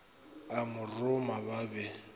a mo roma ba be